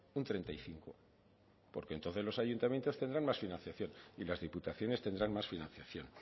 un treinta y cinco porque entonces los ayuntamientos tendrán más financiación y las diputaciones tendrán más financiación